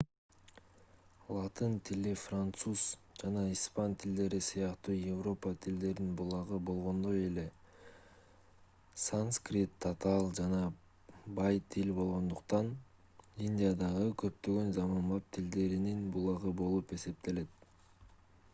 латын тили француз жана испан тилдери сыяктуу европа тилдердин булагы болгондой эле санскрит татаал жана бай тил болгондуктан индиядагы көптөгөн заманбап тилдеринин булагы болуп эсептелет